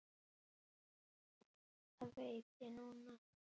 Það veit ég núna.